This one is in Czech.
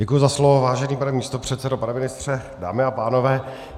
Děkuji za slovo, vážený pane místopředsedo, pane ministře, dámy a pánové.